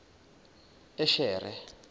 eshere